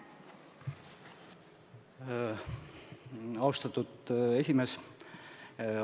Austatud esimees!